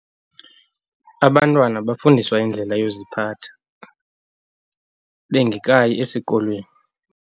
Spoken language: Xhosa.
Abantwana bafundiswa indlela yokuziphatha bengekayi esikolweni.